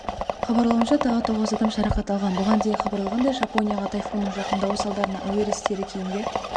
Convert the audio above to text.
хабарлауынша тағы тоғыз адам жарақат алған бұған дейін хабарланғандай жапонияға тайфунның жақындауы салдарынан әуе рейстері кейінге